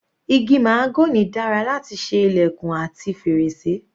Igi mahagony dára láti ṣe ilẹ̀kùn àti fèrèsé.